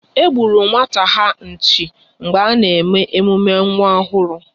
E gburu nwata ha nchi mgbe a na-eme emume nwa ọhụrụ